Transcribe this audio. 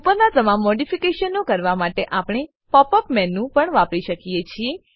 ઉપરનાં તમામ મોડીફીકેશનો કરવા માટે આપણે પોપ અપ મેનુ પણ વાપરી શકીએ છીએ